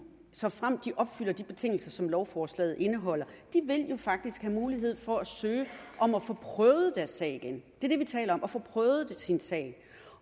såfremt de opfylder de betingelser som lovforslaget indeholder have mulighed for at søge om at få prøvet deres sag igen det er det vi taler om at få prøvet sin sag